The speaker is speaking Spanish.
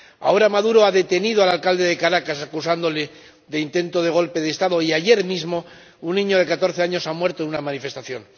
Ahora Maduro ha detenido al alcalde de Caracas, acusándole de intento de golpe de Estado y, ayer mismo, un niño de catorce años murió en una manifestación.